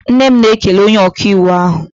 Nne m na-ekele onye ọkaiwu ahụ